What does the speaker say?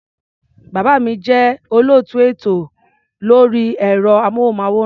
Bàbá mi jẹ́ olóòtú ètò lórí ẹ̀rọ-amóhùnmáwòrán.